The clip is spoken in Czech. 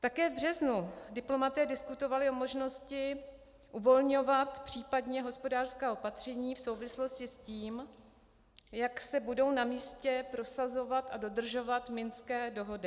Také v březnu diplomaté diskutovali o možnosti uvolňovat případně hospodářská opatření v souvislosti s tím, jak se budou na místě prosazovat a dodržovat Minské dohody.